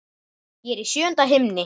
Ég er í sjöunda himni.